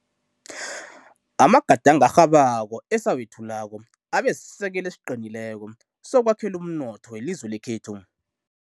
Amagadango arhabako esawethulako abesisekelo esiqinileko sokwakhela umnotho welizwe lekhethu.